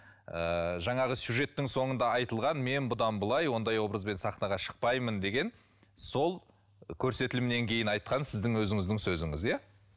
ыыы жаңағы сюжеттің соңында айтылған мен бұдан былай ондай образбен сахнаға шықпаймын деген сол көрсетілімнен кейін айтқан сіздің өзіңіздің сөзіңіз иә